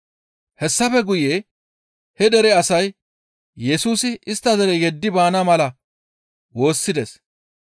Hessafe guye he dere asay Yesusi istta dere yeddidi baana mala woossides.